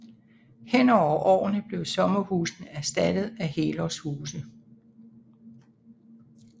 Hen over årene blev sommerhusene erstattet af helårshuse